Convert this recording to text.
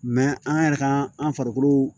an yɛrɛ ka an farikolo